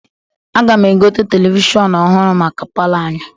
Aga m egote televishọnụ ọhụrụ maka palọ anyị.